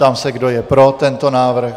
Ptám se, kdo je pro tento návrh.